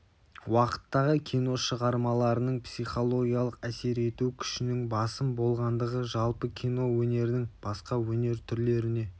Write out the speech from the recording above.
уақыттағы кино шығармаларының психологиялық әсер ету күшінің басым болғандығы жалпы кино өнерінің басқа өнер түрлеріне